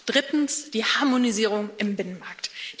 Drittens Die Harmonisierung im Binnenmarkt.